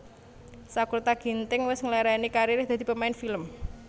Sakurta Ginting wes ngelereni karir e dadi pemain film